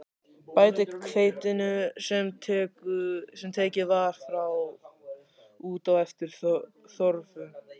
Bætið hveitinu, sem tekið var frá, út í eftir þörfum.